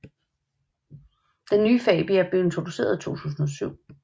Den nye Fabia blev introduceret i 2007